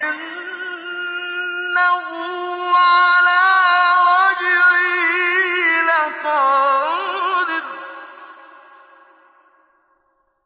إِنَّهُ عَلَىٰ رَجْعِهِ لَقَادِرٌ